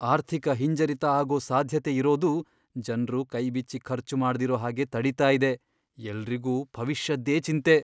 ಆರ್ಥಿಕ ಹಿಂಜರಿತ ಆಗೋ ಸಾಧ್ಯತೆ ಇರೋದು ಜನ್ರು ಕೈಬಿಚ್ಚಿ ಖರ್ಚು ಮಾಡ್ದಿರೋ ಹಾಗೆ ತಡೀತಾ ಇದೆ. ಎಲ್ರಿಗೂ ಭವಿಷ್ಯದ್ದೇ ಚಿಂತೆ..